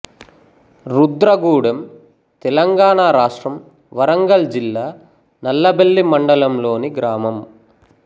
రుద్రగూడెం తెలంగాణ రాష్ట్రం వరంగల్ జిల్లా నల్లబెల్లి మండలం లోనిగ్రామం